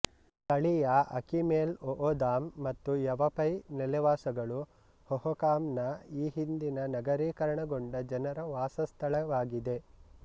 ಸ್ಥಳೀಯ Akimel O'odham ಮತ್ತು Yavapai ನೆಲೆವಾಸಗಳು ಹೊಹೊಕಾಮ್ ನ ಈ ಹಿಂದಿನ ನಗರೀಕರಣಗೊಂಡ ಜನರ ವಾಸಸ್ಥಳವಾಗಿದೆ